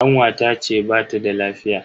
Kanwata ce bata da lafiya.